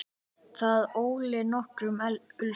Það olli nokkrum usla.